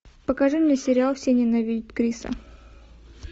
покажи мне сериал все ненавидят криса